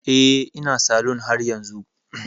Eh, ina salon haryanzu